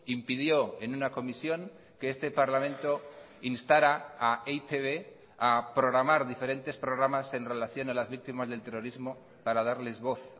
impidió en una comisión que este parlamento instara a e i te be a programar diferentes programas en relación a las víctimas del terrorismo para darles voz